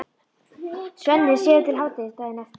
Svenni sefur til hádegis daginn eftir.